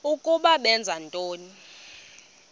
ukuba benza ntoni